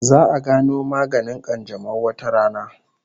Za'a gano maganin kanjamau wata rana